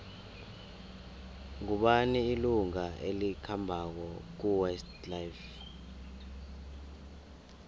ngubani ilunga elikhambako kuwest life